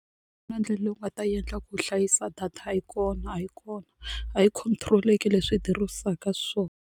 Na ndlela leyi u nga ta yi endla ku hlayisa data a yi kona a yi kona a yi control-eki leswi yi xiswona.